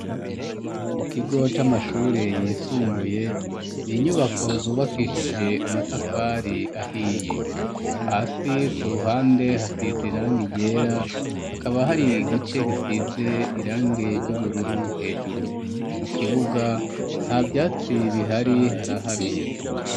Mu kigo c'amashure yisumbuye ni inyubako zubakishije amatafari ahiye hasi ku ruhande hasize irangi ryera hakaba hari igice gisize irangi ry'ubururu hejuru mu kibuga nta vyatsi bihari haraharuye.